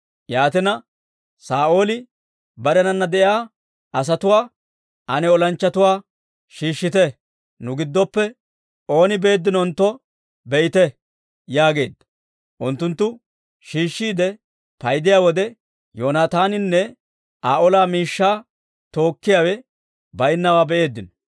Yaatina, Saa'ooli barenana de'iyaa asatuwaa, «Ane olanchchatuwaa shiishshite; nu giddoppe ooni beeddinontto be'ite» yaageedda. Unttunttu shiishshiide paydiyaa wode, Yoonaataaninne Aa ola miishshaa tookkiyaawe baynnaawaa be'eeddino.